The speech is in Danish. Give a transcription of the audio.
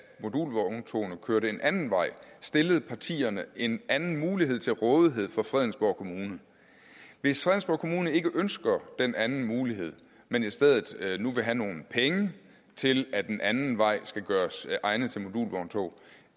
at modulvogntogene kørte en anden vej stillede partierne en anden mulighed til rådighed for fredensborg kommune hvis fredensborg kommune ikke ønsker den anden mulighed men i stedet nu vil have nogle penge til at den anden vej skal gøres egnet til modulvogntog